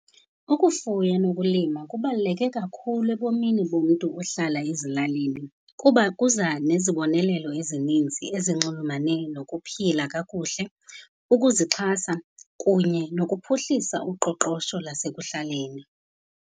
Ukufuya nokulima kubaluleke kakhulu ebomini bomntu ohlala ezilalini kuba kuza nezibonelelo ezininzi ezinxulumane nokuphila kakuhle, ukuzixhasa kunye nokuphuhlisa uqoqosho lasekuhlaleni.